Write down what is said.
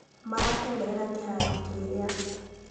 Marateng'erera kĩharo kĩrĩa